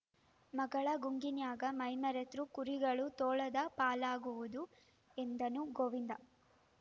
ಮಗಳ ಗುಂಗಿನ್ಯಾಗ ಮೈಮರೆತೃ ಕುರಿಗಳು ತೋಳದ ಪಾಲಾಗ್ಯಾವು ಎಂದನು ಗೋವಿಂದ